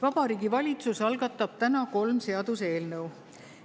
Vabariigi Valitsus algatab täna kolm seaduseelnõu.